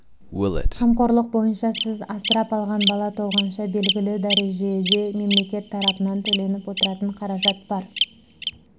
қамқорлық бойынша сіз асырап алған бала толғанша белгілі дәрежеде мемлекет тарапынан төленіп отыратын қаражат бар